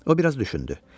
O biraz düşündü.